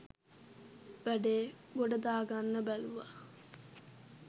වැඩේ ගොඩදාගන්න බැලුව.